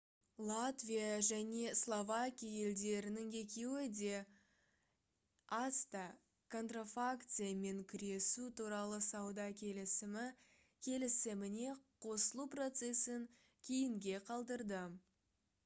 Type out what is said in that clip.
латвия және словакия елдерінің екеуі де acta контрафакциямен күресу туралы сауда келісімі келісіміне қосылу процесін кейінге қалдырды